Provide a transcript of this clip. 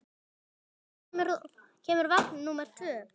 Karli, hvenær kemur vagn númer tvö?